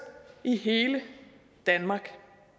i hele danmark